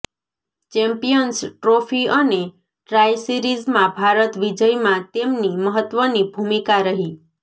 champions trophy અને tri સિરિઝમાં ભારત વિજયમાં તેમની મહત્વની ભૂમિકા રહી